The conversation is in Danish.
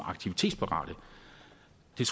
jeg